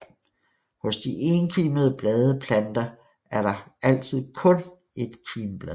Hos de enkimbladede planter er der altid kun ét kimblad